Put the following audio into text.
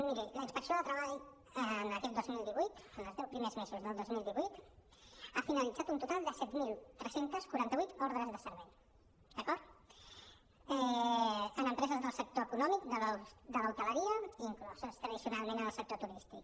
miri la inspecció de treball aquest dos mil divuit en els deu primers mesos del dos mil divuit ha finalitzat un total de set mil tres cents i quaranta vuit ordres de servei d’acord en empreses del sector econòmic de l’hoteleria incloses tradicionalment en el sector turístic